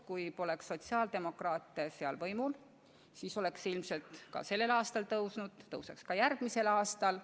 Kui seal poleks sotsiaaldemokraate võimul, siis oleks kohatasu ilmselt ka sellel aastal tõusnud ja tõuseks ka järgmisel aastal.